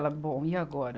Ela, bom, e agora?